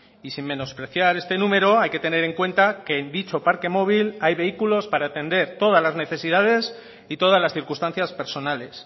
y sin menospreciar este número hay que tener en cuenta que en dicho parque móvil hay vehículos para atender todas las necesidades y todas las circunstancias personales